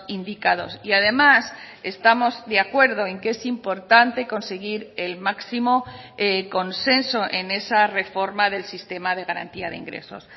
indicados y además estamos de acuerdo en que es importante conseguir el máximo consenso en esa reforma del sistema de garantía de ingresos